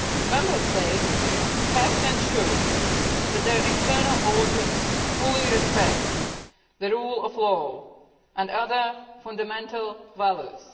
Member States have to ensure that their internal orders fully respect the rule of law and other fundamental values.